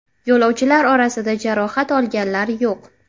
Yo‘lovchilar orasida jarohat olganlar yo‘q.